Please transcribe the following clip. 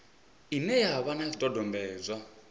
ine ya vha na zwidodombedzwa